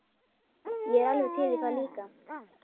Ég er alveg til í það líka.